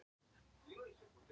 Þá hrópaði Hrafn Oddsson